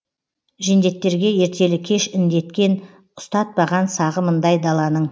жендеттерге ертелі кеш індеткен ұстатпаған сағымындай даланың